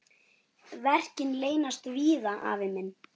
Verkin leynast víða, afi minn.